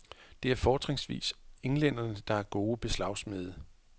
Det er fortrinsvis englænderne, der er gode beslagsmede.